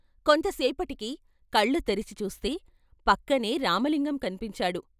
కొంతసేపటికి కళ్ల తెరిచి చూస్తే పక్కనే రామలింగం కన్పించాడు.